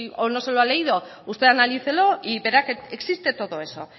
o no se lo ha leído usted analícelo y verá que existe todo eso